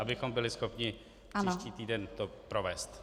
Abychom byli schopni příští týden to provést.